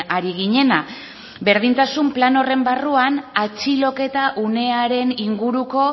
ari ginena berdintasun plan horren barruak atxiloketa unearen inguruko